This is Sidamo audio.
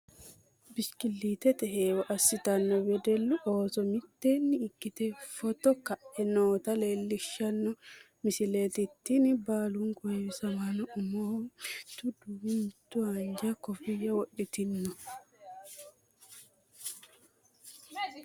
bishikilliittete heewo assitanno wedellu ooso mitteenni ikkite footo ka'e noota leelishshanno misileeti tini, baalunku heewsamaano umoho mitu duumo mitu haanja koffiyya wodhitino.